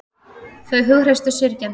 Þau hughreystu syrgjendur